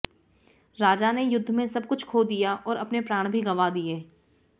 राजा ने युद्ध में सब कुछ खो दिया और अपने प्राण भी गंवा दिए